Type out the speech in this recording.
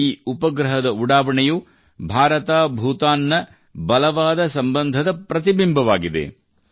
ಈ ಉಪಗ್ರಹದ ಉಡಾವಣೆಯು ಬಲವಾದ ಭಾರತಭೂತಾನ್ ನ ಬಲವಾದ ಸಂಬಂಧದ ಪ್ರತಿಬಿಂಬವಾಗಿದೆ